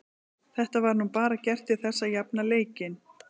Þetta var nú bara gert til þess að jafna leikinn.